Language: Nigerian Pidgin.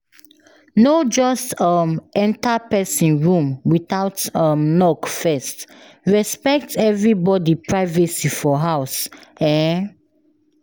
No just um enter pesin room without um knock first, respect everybody privacy for house. um